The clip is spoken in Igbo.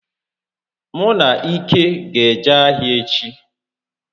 Mụ na Ike ga eje ahịa echi